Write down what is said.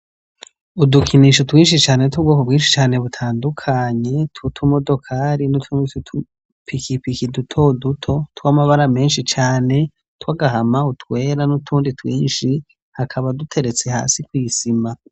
Udukinisho twinshi cane tw' ubwoko bwinshi cane butandukanye, tw' utumodokari n' utundi tw' udupikipiki duto duto, tw' amabara menshi cane, utw' agahama, utwera n' utundi twinshi, hakaba duteretse kw' isima.